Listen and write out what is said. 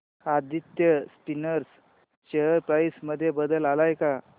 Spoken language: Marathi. आदित्य स्पिनर्स शेअर प्राइस मध्ये बदल आलाय का